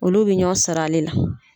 Olu be ɲɔɔn sɔr'ale la.